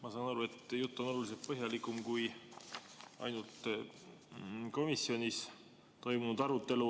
Ma saan aru, et jutt on oluliselt põhjalikum kui ainult komisjonis toimunud arutelu.